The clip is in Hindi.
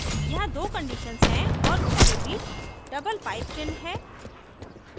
यहाँ दो conditions हैं और उनके बीच double pipe चिन्ह है